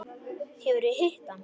Hefurðu hitt hann?